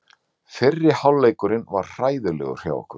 Fyrri hálfleikurinn var hræðilegur hjá okkur.